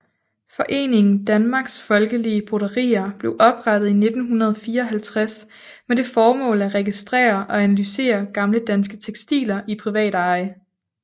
Foreningen Danmarks Folkelige Broderier blev oprettet i 1954 med det formål at registrere og analysere gamle danske tekstiler i privateje